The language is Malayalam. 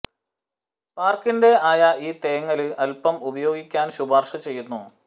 പാർക്കിന്റെ ആയ ഈ തേങ്ങല് അപ്പം ഉപയോഗിക്കാൻ ശുപാർശ ചെയ്യുന്നു